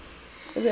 o be a phela ka